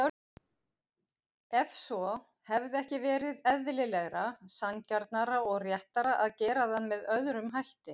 Ef svo, hefði ekki verið eðlilegra, sanngjarnara og réttara að gera það með öðrum hætti?